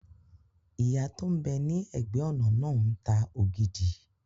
Ìyá tó n bẹ ní ẹ̀gbẹ́-ọ̀nà náà ń ta ògidì